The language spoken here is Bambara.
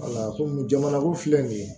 komi jamanakun filɛ nin ye